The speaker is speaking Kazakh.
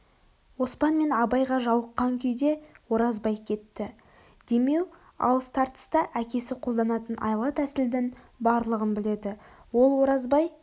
оспан мен абайға жауыққан күйде оразбай кетті демеу алыс-тартыста әкесі қолданатын айла-тәсілдің барлығын біледі ол оразбай